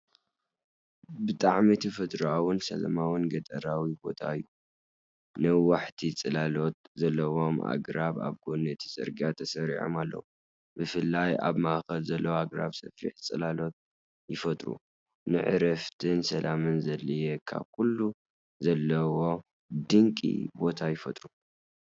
ብጣዕሚ ተፈጥሮኣውን ሰላማውን ገጠራዊ ቦታ እዩ፡፡ ነዋሕቲ ጽላሎት ዘለዎም ኣግራብ ኣብ ጐኒ እቲ ጽርግያ ተሰሪዖም ኣለዉ፤ ብፍላይ ኣብ ማእከል ዘለዉ ኣግራብ ሰፊሕ ጽላሎት ይፈጥሩ፣ ንዕረፍትን ሰላምን ዘድልየካ ኩሉ ዘለዎ ድንቂ ቦታ ይፈጥሩ፡፡